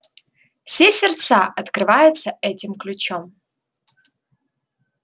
все сердца открываются этим ключом